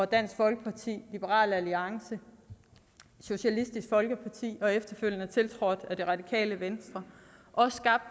dansk folkeparti liberal alliance socialistisk folkeparti og efterfølgende tiltrådt af det radikale venstre også skabt